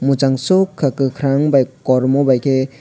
mochangsoka kokarang bai kormo bai ke.